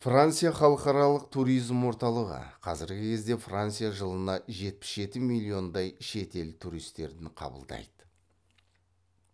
франция халықаралық туризм орталығы қазіргі кезде франция жылына жетпіс жеті миллиондай шетел туристерін қабылдайды